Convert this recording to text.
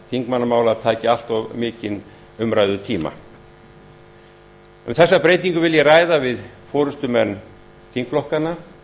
þingmannamála taki allt mikinn umræðutíma um þessa breytingu vil ég ræða við forustumenn þingflokkanna